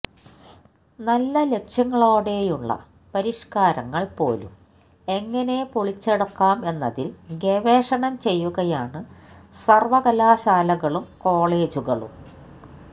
നല്ല ലക്ഷ്യങ്ങളോടെയുള്ള പരിഷ്കാരങ്ങൾ പോലും എങ്ങനെ പൊളിച്ചടുക്കാം എന്നതിൽ ഗവേഷണം ചെയ്യുകയാണു സർവകലാശാലകളും കോളജുകളും